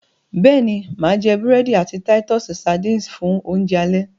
béèni má jé burẹdi àti Titus sardines fún Oúnjẹ alẹ́.